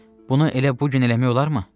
Bunu elə bu gün eləmək olarmı?